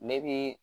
Ne bi